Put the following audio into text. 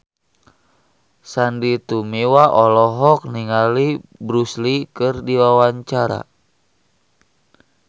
Sandy Tumiwa olohok ningali Bruce Lee keur diwawancara